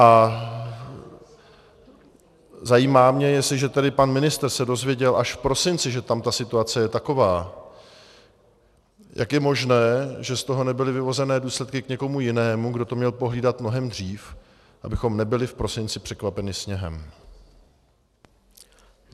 A zajímá mě, jestliže tedy pan ministr se dozvěděl až v prosinci, že tam ta situace je taková, jak je možné, že z toho nebyly vyvozeny důsledky k někomu jinému, kdo to měl pohlídat mnohem dřív, abychom nebyli v prosinci překvapeni sněhem.